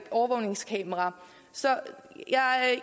overvågningskameraer så